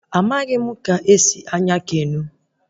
Amaghị m ka esi anya keno